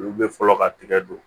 Olu bɛ fɔlɔ ka tigɛ don